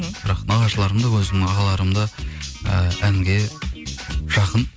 бірақ нағашыларым да өзімнің ағаларым да і әнге жақын